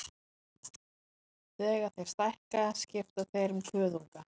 Þegar þeir stækka skipta þeir um kuðunga.